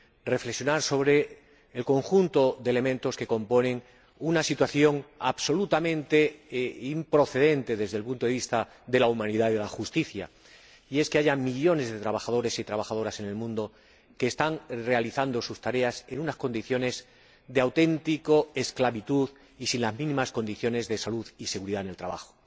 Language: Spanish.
reflexionar en la tarde de hoy sobre el conjunto de elementos que componen una situación absolutamente improcedente desde el punto de vista de la humanidad y de la justicia, y es que haya millones de trabajadores y trabajadoras en el mundo que están realizando sus tareas en unas condiciones de auténtica esclavitud y sin las mínimas condiciones de salud y seguridad en el trabajo.